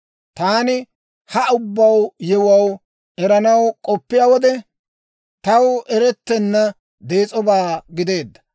Taani ha ubbaa yewuwaa eranaw k'oppiyaa wode, taw erettenna dees'obaa gideedda.